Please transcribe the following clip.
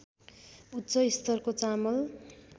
उच्च स्तरको चामल